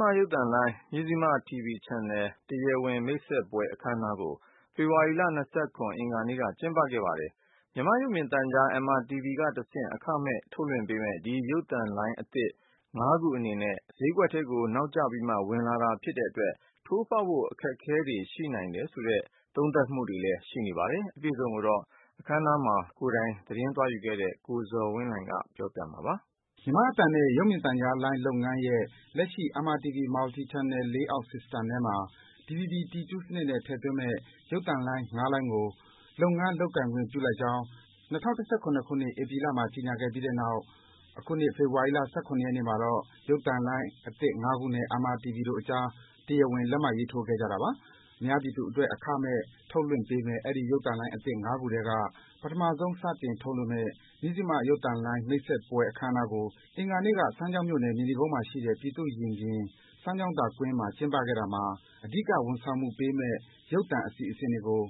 မရုပ်သံလိုင်း၊ Mizzima TV Channel တရားဝင် မိတ်ဆက်ခြင်း အခမ်းအနားကို ဖေဖော်ဝါရီလ ၂၇ ရက်၊ အင်္ဂါနေ့က ကျင်းပခဲ့ပါတယ်။ မြန်မာ့ရုပ်မြင်သံကြား MRTV ကတဆင့် အခမဲ့ ထုတ်လွှင့်ပေးမယ့် ဒီ ရုပ်သံလိုင်းအသစ် ၅ ခု အနေနဲ့ ဈေးကွက်ဈေးကွက်ထဲကို နောက်ကျပြီးမှ ဝင်လာတာဖြစ်တဲ့အတွက် ထိုးဖောက်ဖို့ အခက်အခဲတွေ ရှိနိုင်တယ်ဆိုတဲ့ သုံးသပ် ပြောဆိုမှုတွေလည်း ရှိနေပါတယ်။ အပြည့်အစုံကိုတော့ အခမ်းအနားမှာ ကိုယ်တိုင် သတင်းသွားယူခဲ့တဲ့ ကိုဇော်ဝင်းလှိုင်က တင်ပြပေးပါမယ်။ မြန်မာ့အသံနဲ့ ရုပ်မြင်သံကြားလုပ်ငန်းရဲ့ လက်ရှိ MRTV Multi Channel Playout System ထဲမှာ DVB-T2 စနစ်နဲ့ ထည့်သွင်းမယ့် ရုပ်သံလိုင်း ၅ လိုင်းကို လုပ်ငန်း လုပ်ကိုင်ခွင့်ပြုလိုက်ကြောင်း ၂၀၁၇ ခုနှစ်၊ ဧပြီလမှာ ကြေညာခဲ့ပြီးတဲ့နောက် အခုနှစ် ဖေဖော်ဝါရီလ ၁၇ ရက်နေ့မှာတော့ ရုပ်သံလိုင်းသစ်ငါးခုနဲ့ MRTV တို့အကြား တရားဝင် လက်မှတ်ရေးထိုးခဲ့ကြတာပါ။ အများပြည်သူအတွက် အခမဲ့ ထုတ်လွှင့်ပေးမယ့် အဲဒီ ရုပ်သံလိုင်းအသစ် ၅ ခုထဲက ပထမဆုံး စတင်ထုတ်လွှင့်မယ့် မဇ္ဈိမရုပ်သံလိုင်း မိတ်ဆက်ပွဲ အခမ်းအနားကို အင်္ဂါနေ့က စမ်းချောင်းမြို့၊ မြေနီကုန်းမှာရှိတဲ့ ပြည်သူ့ရင်ပြင်၊ စမ်းချောင်းသာကွင်းမှာ ကျင်းပခဲ့တာမှာ အဓိက ဝန်ဆောင်မှုပေးမယ့် ရုပ်သံအစီအစဉ်တွေကို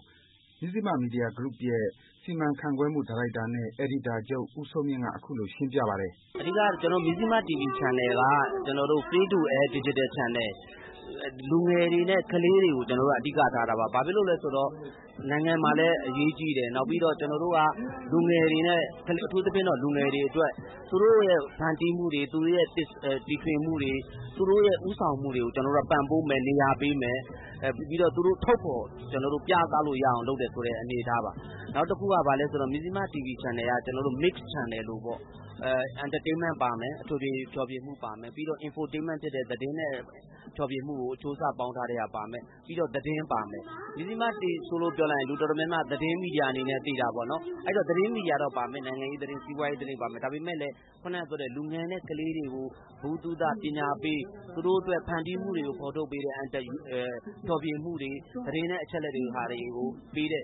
မဇ္ဈိမမီဒီယာဂရုရဲ့ စီမံခန့်ခွဲမှုဒါရိုက်တာနဲ့ အယ်ဒီတာချုပ် ဦးစိုးမြင့်က အခုလို ရှင်းပြပါတယ်။ "အဓိက ကျနော်တို့ မဇ္ဈိမ TV Channel က Free to Air Digital Channel ။ လူငယ်တွေနဲ့ ကလေးတွေကို ကျနော်တို့က အဓိကထားတာပါ။ ဘာဖြစ်လို့လဲဆိုတော့ နိုင်ငံမှာလည်း အရေးကြီးတယ်၊ နောက်ပြီးတော့ ကျနော်တို့က လူငယ်တွေနဲ့၊ အထူးသဖြင့်တော့ လူငယ်တွေအတွက် သူတို့ရဲ့ ဖန်တီးမှုတွေ၊ သူတို့ရဲ့ တီထွင်မှုတွေ၊ သူတို့ရဲ့ ဦးဆောင်မှုတွေကို ကျနော်တို့က ပံ့ပိုးမယ်၊ နေရာပေးမယ်။ ပြီးတော့ သူတို့ ထုတ်ဖော် ပြသလို့ရအောင် လုပ်တယ်ဆိုတဲ့ အနေအထားပါ။ နောက်တခုက ဘာလဲဆိုတော့ ကျနော်တို့ မဇ္ဈိမ TV Channel က Mix Channel လိုပေါ့၊ Entertainment - အထွေထွေ ဖျော်ဖြေမှုပါမယ်၊ နောက်ပြီးတော့ Infotainment ဖြစ်တဲ့ သတင်းနဲ့ ဖျော်ဖြေမှုကို အချိုးအစား ပေါင်းထားတဲ့ဟာ ပါမယ်၊ ပြီးတော့ သတင်းပါမယ်။ မဇ္ဈိမလို့ ပြောလိုက်ရင် လူတော်တော်များများက သတင်းမီဒီယာ အနေနဲ့ သိတာပေါ့နော်။ အဲဒီတော့ သတင်းမီဒီယာတော့ ပါမယ်။ နိုင်ငံရေးသတင်း၊ စီးပွားရေးသတင်း ပါမယ်။ ဒါပေမယ့်လည်း ဒါပေမယ့်လည်း ခုနကပြောတဲ့ လူငယ်နဲ့ ကလေးတွေကို ဗဟုသုတ၊ ပညာပေး၊ သူတို့အတွက် ဖန်တီးမှုတွေကို ဖော်ထုတ်ပေးတဲ့ ဖျော်ဖြေမှုတွေ၊ သတင်းနဲ့ အချက်အလက်တွေကို ပေးတဲ့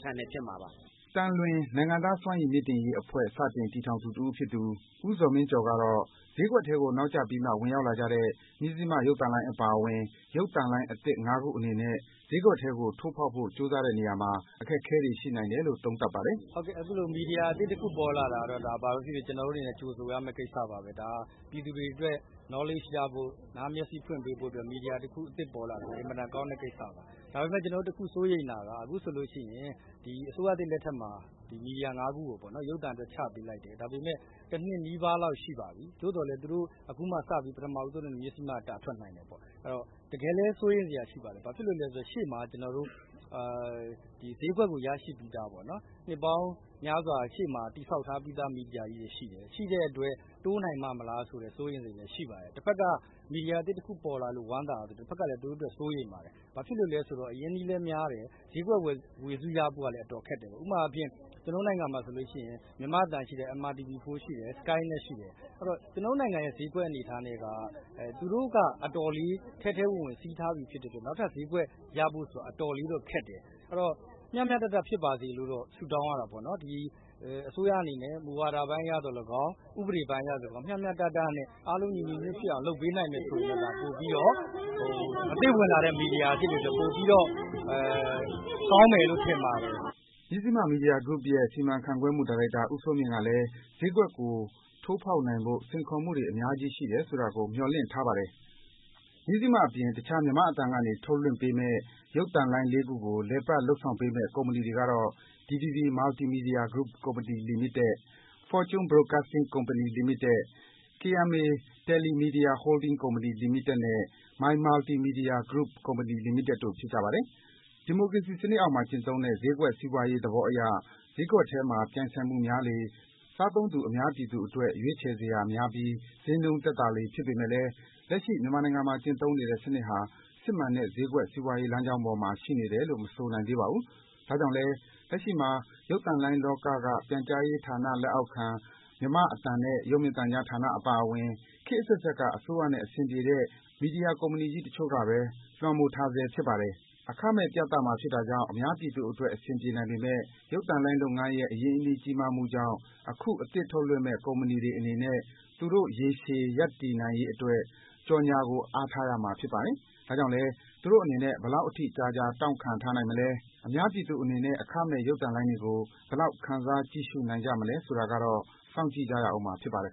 Channel ဖြစ်မှာပါ။" သံလွင် - နိုင်ငံသားစွမ်းရည်မြင့်တင်ရေးအဖွဲ့ စတင်တည်ထောင်သူ တဦးဖြစ်သူ ဦးဇော်မင်းကျော်ကတော့ - ဈေးကွက်ထဲကို နောက်ကျပြီးမှ ဝင်ရောက်လာကြတဲ့ မဇ္ဈိမရုပ်သံလိုင်းအပါအဝင် ရုပ်သံလိုင်းအသစ် ၅ ခုအနေနဲ့ ဈေးကွက်ထဲကိုထိုးဖောက်ဖို့ ကြိုးစားတဲ့နေရာမှာ အခက်အခဲတွေ ရှိနိုင်တယ်လို့ သုံးသပ်ပါတယ်။ "အခုလို မီဒီယာအသစ်တခု ပေါ်လာတာကတော့ ဒါ ဘာဘဲဖြစ်ဖြစ် ကျနော်တို့အနေနဲ့ ကြိုဆိုရမယ့် ကိစ္စပါဘဲ။ ဒါက ပြည်သူတွေအတွက် Knowledge ရဖို့၊ နားမျက်စေ့ ဖွင့်ပေးဖို့အတွက် မီဒီယာအသစ်တခု ပေါ်လာတာ အင်မတန် ကောင်းတဲ့ကိစ္စပါ။ ဒါပေမယ့် ကျနော်တို့ တခုစိုးရိမ်တာက အခုဆိုလိုရှိရင် ဒီ အစိုးရသစ် လက်ထက်မှာ ဒီ မီဒီယာ ၅ ခုကိုပေါ့နော် ရုပ်သံအတွက် ချပေးလိုက်တယ်။ ဒါပေမယ့် တနှစ်နီးပါးလောက် ရှိပါပြီ။ သို့သော်လည်း အခုမှ ပထမဦးဆုံးအနေနဲ့ မဇ္ဈိမက တာထွက်နိုင်တယ်ပေါ့။ အဲဒီတော့ တကယ်လဲ စိုးရိမ်စရာ ဖြစ်ပါတယ်။ ဘာဖြစ်လို့လည်းဆိုတော့ ရှေ့မှာ ဈေးကွက်ကို ရရှိပြီးသားပေါ့နော်၊ နှစ်ပေါင်းများစွာ ရှေ့မှာ တည်ဆောက် ထားပြီးသား မီဒီယာကြီးတွေ ရှိတယ်။ ရှိတဲ့အတွက် တိုးနိုင်ပါ့မလားဆိုတဲ့ စိုးရိမ်စိတ်လည်း ရှိပါတယ်။ တဘက်က မီဒီယာအသစ်တခု ပေါ်လာလို့ ဝမ်းသာရသလို တဘက်ကလည်း သူတို့အတွက် စိုးရိမ်ပါတယ်။ ဘာဖြစ်လို့လဲဆိုတော့ အရင်းအနှီးလည်း များတယ်၊ ဈေးကွက် ဝေစုရဖို့ကလည်း အတော်ခက်တယ်ပေါ့။ ဥပမာအားဖြင့် ကျနော်တို့ နိုင်ငံမှာဆိုလို့ရှိရင် မြန်မာ့အသံရှိတယ်၊ MRTV 4 ရှိတယ်၊ SkyNet ရှိတယ်။ အဲဒီတော့ ကျနော်တို့နိုင်ငံရဲ့ ဈေးကွက် အနေအထားနဲ့က သူတို့က အတော်လေး ထဲထဲဝင်ဝင် စီးထားပြီး ဖြစ်တဲ့အတွက် နောက်ထပ် ဈေးကွက်ရဖို့ဆိုတာ အတော်လေးတော့ ခက်တယ်။ အဲဒီတော့ မျှမျှတတဖြစ်ပါစေလို့တော့ ဆုတောင်းရတာပေါ့နော်။ ဒီ အစိုးရအနေနဲ့ မူဝါဒပိုင်းအရသော်၎င်း၊ ဥပဒေပိုင်းအရသော်၎င်း မျှမျှတတနဲ့ အားလုံး ညီညီညွတ်ညွတ်ဖြစ်အောင် လုပ်ပေးနိုင်မယ် ဆိုရင်တော့ ဒါ ပိုပြီးတော့၊ အသစ်ဝင်လာတဲ့ မီဒီယာ အသစ်တွေအတွက် ပိုပြီးတော့ ကောင်းမယ်လို့ ထင်ပါတယ်။" မဇ္ဈိမမီဒီယာဂရုရဲ့ စီမံခန့်ခွဲမှုဒါရိုက်တာ ဦးစိုးမြင့်ကလည်း ဈေးကွက်ကို ထိုးဖော်နိုင်ဖို့ စိန်ခေါ်မှုတွေ များကြီးရှိနိုင်တယ်ဆိုတာကို မျှော်လင့်ထားပါတယ်။ မဇ္ဈိမအပြင် တခြား မြန်မာ့အသံကနေ ထုတ်လွှင့်ပေးမယ့် ရုပ်သံလိုင်း လေးခုကို လည်ပတ် လုပ်ဆောင်ပေးမယ့် ကုမ္ပဏီတွေကတော့ - DVB Multimedia Group Company Limited ၊ Fortune Broadcasting Company Limited ၊ KMA TeleMedia Holdings Company Limited နဲ့ My Multi Media Group Company Limited တို့ဖြစ်ပါတယ်။ ဒီမိုကရေစီစံနစ်အောက်မှာ ကျင့်သုံးတဲ့ ဈေးကွက်စီးပွားရေး သဘောအရ ဈေးကွက်ထဲမှာ ပြိုင်ဆိုင်မှုများလေ စားသုံးသူ အများပြည်အတွက် ရွေးချယ်စရာများပြီး ဈေးနှုန်းသက်သာလေ ဖြစ်ပေမယ့်လည်း လက်ရှိ မြန်မာနိုင်ငံမှာ ကျင့်သုံးနေတဲ့ စံနစ်ဟာ စစ်မှန်တဲ့ ဈေးကွက် စီးပွားရေး လမ်းကြောင်းပေါ်မှာ ရှိနေတယ်လို့ မဆိုနိုင်သေးပါဘူး။ ဒါကြောင့်လည်း လက်ရှိမှာ ရုပ်သံလိုင်းလောက ပြန်ကြားရေးဌာန လက်အောက်ခံ မြန်မာ့အသံနဲ့ ရုပ်မြင်သံကြား ဌာနအပါအဝင် ခေတ်အဆက်ဆက်က အစိုးရနဲ့ အဆင်ပြေတဲ့ မီဒီယာကုမ္ပဏီကြီးက တချို့ကဘဲ လွမ်းမိုးထားဆဲ ဖြစ်ပါတယ်။ အခမဲ့ ပြသမှာဖြစ်တာကြောင့် အများပြည်သူအတွက် အဆင်ပြေနိုင်ပေမယ့် ရုပ်သံလုပ်ငန်းရဲ့ အရင်းအနှီး ကြီးမားမှုကြောင့် အခု အသစ်ထုတ်လွှင့်မယ့် ကုမ္ပဏီတွေအနေနဲ့ သူတို့ ရေရှည် ရပ်တည်ရေးအတွက် ကြော်ညာကို အားထားရမှာ ဖြစ်ပါတယ်။ ဒါကြောင့်လည်း သူတို့အနေနဲ့ ဘယ်လောက်အထိ ကြာကြာ တောင့်ခံထားနိုင်မလဲ၊ အများပြည်သူအနေနဲ့ အခမဲ့ ရုပ်သံလိုင်းတွေကို ဘယ်လောက် ခံစား ကြည့်ရှုနိုင်ကြမလဲဆိုတာကတော့ စောင့်ကြည့်ရဦးမှာ ဖြစ်ပါတယ်